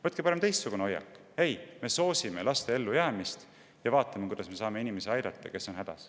Võtke parem teistsugune hoiak: me soosime laste ellujäämist ja vaatame, kuidas me saame aidata neid inimesi, kes on hädas.